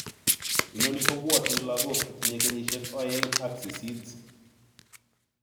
Inoni kopwanchin logok che tinye kenyisiek oeng ak sisit.